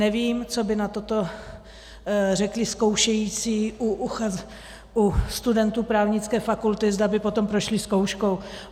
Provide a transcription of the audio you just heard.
Nevím, co by na to řekli zkoušející u studentů právnické fakulty, zda by potom prošli zkouškou.